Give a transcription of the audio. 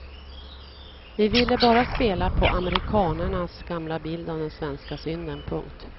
Vi ville bara spela på amerikanernas gamla bild av den svenska synden. punkt